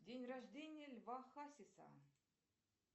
день рождение льва хасиса